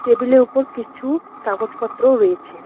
Table -এর উপর কিছু কাগজপত্রও রয়েছে।